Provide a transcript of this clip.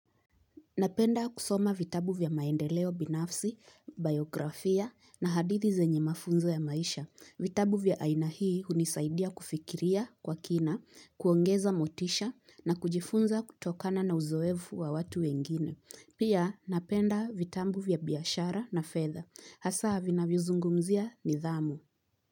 Napenda kusoma vitabu vya maendeleo binafsi, biografia na hadithi zenye mafunzo ya maisha. Vitabu vya aina hii hunisaidia kufikiria kwa kina, kuongeza motisha na kujifunza kutokana na uzoefu wa watu wengine. Pia napenda vitabu vya biashara na fedha. Hasa vinavyozungumzia nidhamu.